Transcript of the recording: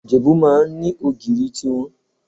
Ìjẹ̀bú máa ń ní ogìrì tí wọn.